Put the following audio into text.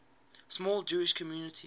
small jewish community